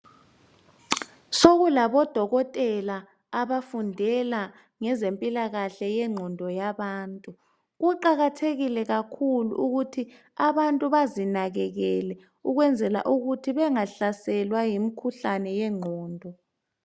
Sokulabo dokotela abafundela ngezempilakahle yenqondoyabantu, kuqakathekile kakhulu ukuthi abantu bazinakekele ukwenzala ukuthi bengahlaselwa yimikhuhlane uenqondo